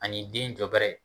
Ani den jɔbɛrɛ